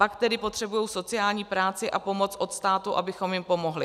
Pak tedy potřebují sociální práci a pomoc od státu, abychom jim pomohli.